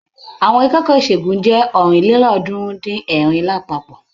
Àwọn akẹ́kọ̀ọ́ ìṣègùn jẹ́ ọ̀rìnlélọ́ọ̀ọ́dúnrún-dín-ẹ̀rin lápapọ̀.